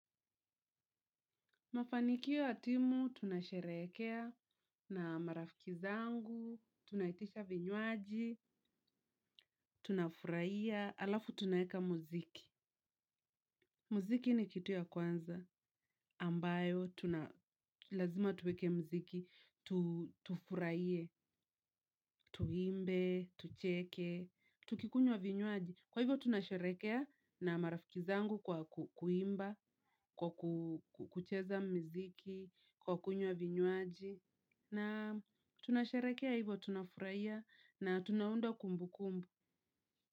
Mafanikio ya timu, tunasherehekea na marafiki zangu, tunaitisha vinywaji, tunafurahia, halafu tunaweka muziki. Muziki ni kitu cha kwanza, ambacho lazima tuweke muziki, tufurahie, tuimbe, tucheke, tukinywa vinywaji. Kwa hivyo tunasherehekea na marafiki zangu kwa kuimba, kucheza muziki, kunywa vinywaji, na tunasherehekea hivyo, tunafurahia na tunaunda kumbukumbu.